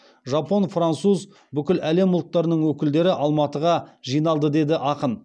жапон француз бүкіл әлем ұлттарының өкілдері алматыға жиналды деді ақын